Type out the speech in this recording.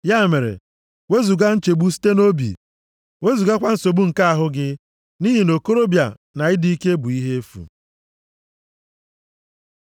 Ya mere, wezuga nchegbu site nʼobi, + 11:10 \+xt 2Tm 2:22.\+xt* wezugakwa nsogbu nke ahụ gị, nʼihi na okorobịa na ịdị ike bụ ihe efu.